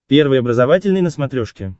первый образовательный на смотрешке